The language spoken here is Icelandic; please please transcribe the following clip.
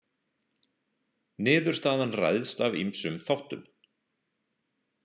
Niðurstaðan ræðst af ýmsum þáttum.